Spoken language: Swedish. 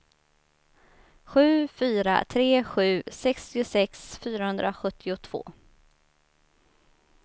sju fyra tre sju sextiosex fyrahundrasjuttiotvå